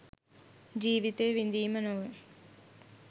ජීවිතය විඳීම නොව